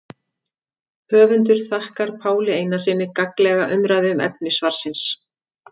Höfundur þakkar Páli Einarssyni gagnlega umræðu um efni svarsins.